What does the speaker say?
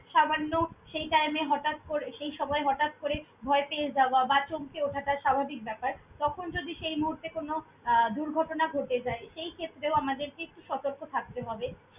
সামান্য সেই time এ হটাৎ করে সেই সময়ে হটাৎ করে ভয় পেয়ে যাওয়া বা চমকে ওঠাটা স্বাভাবিক ব্যাপার। তখন যদি সেই মুহূর্তে কোনো আহ দুর্ঘটনা ঘটে যায়, সেইক্ষেত্রেও আমাদেরকে একটু সতর্ক থাকতে হবে।